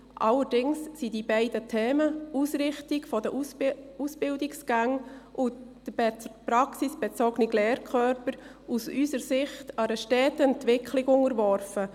Allerdings sind die beiden Themen, die Ausrichtung der Ausbildungsgänge sowie der praxisbezogene Lehrkörper, aus unserer Sicht einer steten Entwicklung unterworfen.